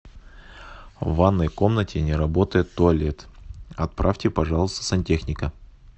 в ванной комнате не работает туалет отправьте пожалуйста сантехника